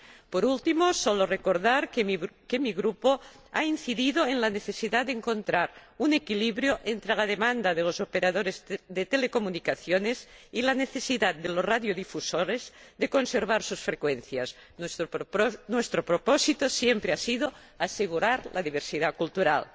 Por último, solo deseo recordar que mi grupo ha incidido en la necesidad de encontrar un equilibrio entre la demanda de los operadores de telecomunicaciones y la necesidad de los radiodifusores de conservar sus frecuencias. Nuestro propósito siempre ha sido asegurar la diversidad cultural.